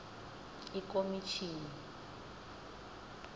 ikomitjhini